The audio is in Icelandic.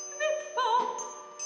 má